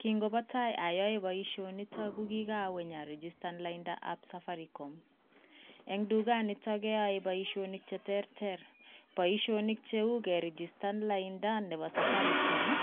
Kingobo tai ayoe boisionito ko kigawe inyarijistan laindaab Safaricom. Eng dukanito keyae boisionik che terter. Boisionik cheu kerijistan lainda nebo Safaricom ii,